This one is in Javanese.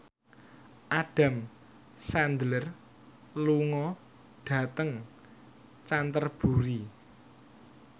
Adam Sandler lunga dhateng Canterbury